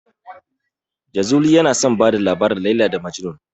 Jazuli yana son bada labarin "Laila da Majnun".